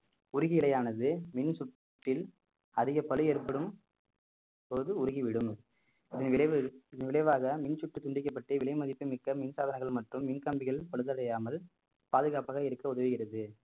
உருகிய மின் சுற்றில் அதிக பழு ஏற்படும் பொழுது உருகி விடும் இதன் விளைவு விளைவாக மின் சுத்து துண்டிக்கப்பட்டு விலை மதிப்பு மிக்க மின்சாதனங்கள் மற்றும் மின்கம்பிகள் பழுதடையாமல் பாதுகாப்பாக இருக்க உதவுகிறது